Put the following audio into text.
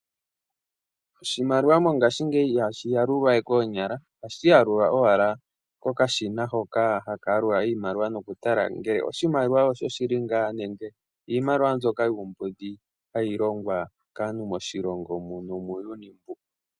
Oshimaliwa mongaashingeyi ihashi yalulwa we koonyala ohashi yalulwa owala kokashina hoka haka yalula iimaliwa nokutala ngele oshimaliwa oshoshili ngaa nenge iimaliwa mbyoka yuumbudhi hayi longwa kaantu moshilongo nomuuyuni mbu.